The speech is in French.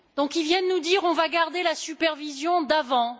Ils viennent nous dire On va garder la supervision d'avant.